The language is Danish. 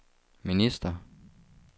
minister